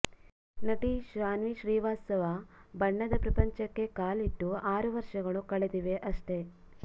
ನಟಿ ಶಾನ್ವಿ ಶ್ರೀವಾಸ್ತವ ಬಣ್ಣದ ಪ್ರಪಂಚಕ್ಕೆ ಕಾಲಿಟ್ಟು ಆರು ವರ್ಷಗಳು ಕಳೆದಿವೆ ಅಷ್ಟೇ